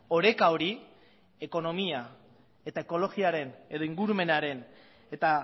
oreka hori ekonomia eta ekologiaren edo ingurumenaren eta